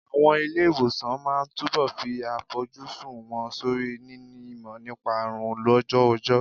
Àwọn ilé ìwòsàn máa túbọ̀ fi àfojúsùn wọn sórí níní ìmọ̀ nípa àrùn lójú ọjọ́.